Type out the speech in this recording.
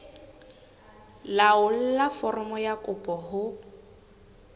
laolla foromo ya kopo ho